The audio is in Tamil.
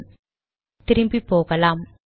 சரி திரும்பி போகலாம்